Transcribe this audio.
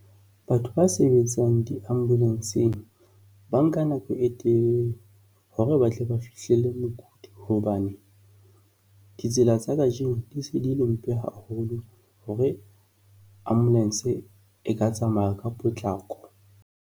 Batho ba sebetsang di-ambulance-eng ba nka nako e telele hore ba tle ba fihlelle mokudi hobane ditsela tsa kajeno di se di le mpe haholo hore ambulance e ka tsamaya ka potlako.